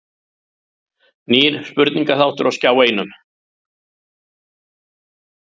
Nýr spurningaþáttur á Skjá einum